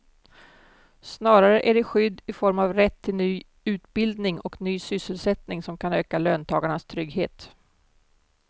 Snarare är det skydd i form av rätt till ny utbildning och ny sysselsättning som kan öka löntagarnas trygghet.